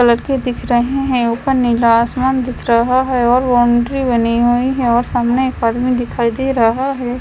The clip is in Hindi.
कलर के दिख रहे हैं ऊपर नीला आसमान दिख रहा है और बाउंड्री बनी हुई है और सामने अपार्टमेंट दिखाई दे रहा है।